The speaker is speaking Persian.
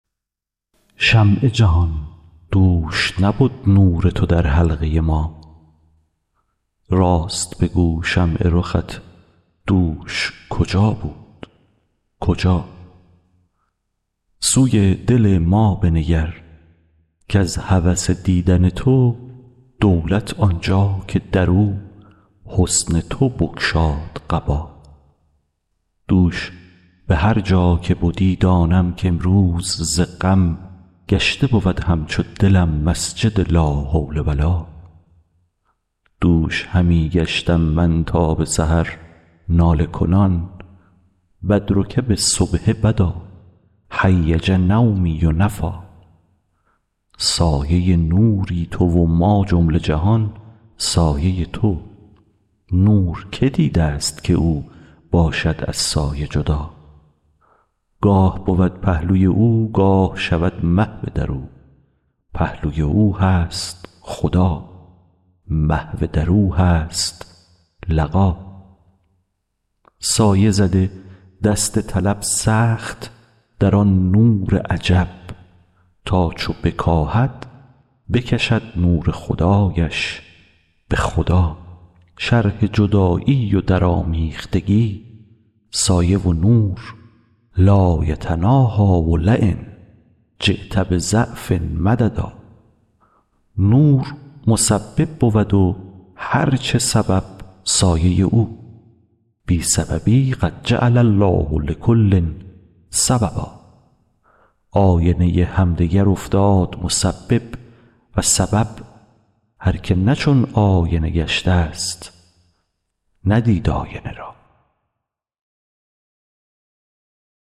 شمع جهان دوش نبد نور تو در حلقه ما راست بگو شمع رخت دوش کجا بود کجا سوی دل ما بنگر کز هوس دیدن تو دولت آن جا که در او حسن تو بگشاد قبا دوش به هر جا که بدی دانم کامروز ز غم گشته بود همچو دلم مسجد لا حول و لا دوش همی گشتم من تا به سحر ناله کنان بدرک بالصبح بدا هیج نومي و نفیٰ سایه نوری تو و ما جمله جهان سایه تو نور کی دیدست که او باشد از سایه جدا گاه بود پهلوی او گاه شود محو در او پهلوی او هست خدا محو در او هست لقا سایه زده دست طلب سخت در آن نور عجب تا چو بکاهد بکشد نور خدایش به خدا شرح جدایی و درآمیختگی سایه و نور لا یتناهیٰ و لین جیت بضعف مددا نور مسبب بود و هر چه سبب سایه او بی سببی قد جعل الله لکل سببا آینه همدگر افتاد مسبب و سبب هر کی نه چون آینه گشتست ندید آینه را